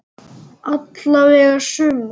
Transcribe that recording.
Alla vega sumir.